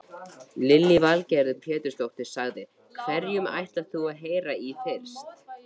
Lillý Valgerður Pétursdóttir: Hverjum ætlar þú að heyra í fyrst?